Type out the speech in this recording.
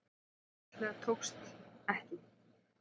Það einfaldlega tókst ekki.